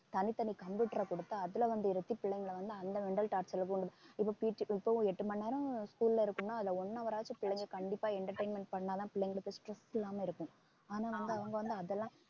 தனித்தனி computer அ கொடுத்து அதுல வந்து பிள்ளைங்களை வந்து அந்த mental torture ல இப்ப PT இப்பவும் எட்டு மணி நேரம் school ல இருக்குன்னா அதுல one hour ஆச்சும் பிள்ளைங்க கண்டிப்பா entertainment பண்ணா தான் பிள்ளைங்களுக்கு stress இல்லாம இருக்கும் ஆனா அவங்க வந்து அதெல்லாம்